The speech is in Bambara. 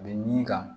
A bɛ min kan